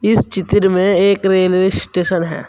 इस चित्र में एक रेलवे स्टेशन है।